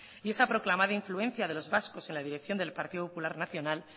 y esa proclamada influencia de los vascos en la dirección del partido popular nacional